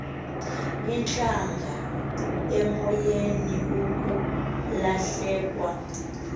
intlaka emlonyeni kukulahlekwa